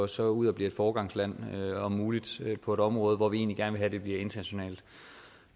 så går ud og bliver et foregangsland om muligt på det område hvor vi gerne vil have at det bliver internationalt